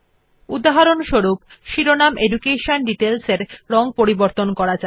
উদাহরণস্বরূপ শিরোনাম education details রং করা যাক